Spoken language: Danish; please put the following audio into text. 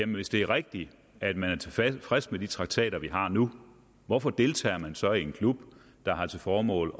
hvis det er rigtigt at man er tilfreds med de traktater vi har nu hvorfor deltager man så i en klub der har til formål